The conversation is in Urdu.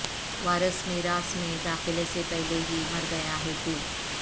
وارث میراث میں داخلے سے پہلے ہی مر گیا ہے تو